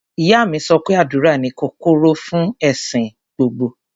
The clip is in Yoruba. Ìyá mi sọ pé àdúrà ni kọ́kọ́rọ́ fún ẹ̀sìn gbogbo.